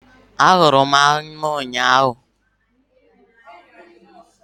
Ahụrụ m anụ ụnyahụ